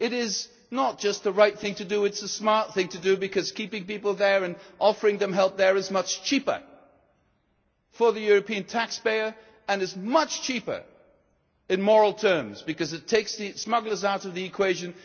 care. It is not just the right thing to do, it is the smart thing to do, because keeping people there and offering them help there is much cheaper for the European taxpayer and is much cheaper in moral terms, because it takes the smugglers out of the equation.